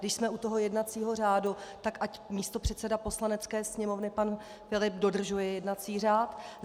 Když jsme u toho jednacího řádu, tak ať místopředseda Poslanecké sněmovny pan Filip dodržuje jednací řád.